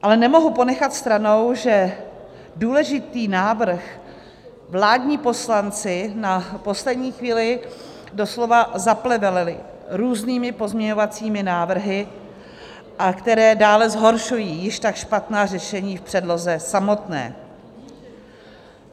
Ale nemohu ponechat stranou, že důležitý návrh vládní poslanci na poslední chvíli doslova zaplevelili různými pozměňovacími návrhy, které dále zhoršují již tak špatná řešení v předloze samotné.